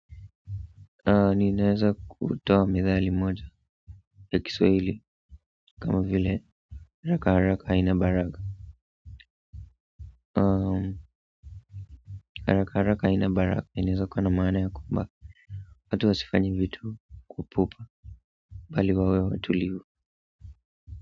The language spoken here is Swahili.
Ninaeza kutoa methali moja ya Kiswahili kama vile haraka haraka haina baraka haraka haraka haina baraka inaeza kuwa na maana ya kwamba hata usifanye vitu kwa upupa bali wawe watulivu.